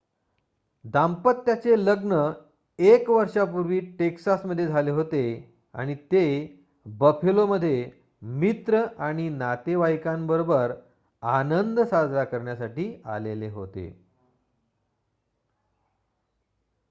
दाम्पत्याचे लग्न एक वर्षापूर्वी टेक्सासमध्ये झाले होते आणि ते बफेलोमध्ये मित्र व नातेवाईकांबरोबर आनंद साजरा करण्यासाठी आले होते